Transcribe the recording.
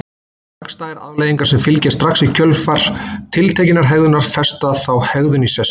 Hagstæðar afleiðingar sem fylgja strax í kjölfar tiltekinnar hegðunar festa þá hegðun í sessi.